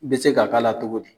N bɛ se k'a k'a la cogo di?